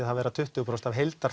að vera tuttugu prósent af